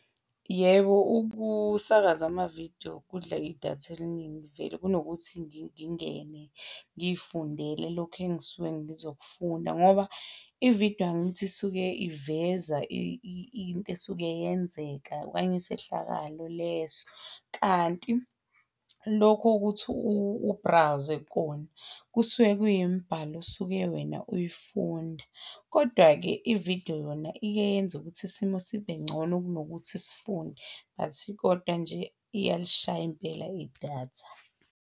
Yebo, ukusakaza amavidiyo kudla idatha eliningi vele kunokuthi ngingene ngifundele lokhu engisuke ngizofunda ngoba ividiyo angithi isuke iveza into esuke yenzeka okanye isehlakalo leso. Kanti lokhu kuthi u-browse-e kona, kusuke kuyimbhalo osuke wena uyifunda. Kodwa-ke ividiyo yona iye yenza ukuthi isimo sibengcono kunokuthi sifunde. But kodwa nje iyalishaya impela idatha.